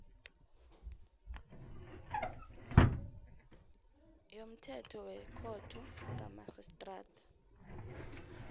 yomthetho wekhotho kamarhistrada